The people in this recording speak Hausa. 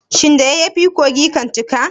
Shin da yayyafi kogi kan cika.